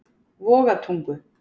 Vogatungu